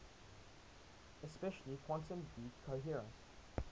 especially quantum decoherence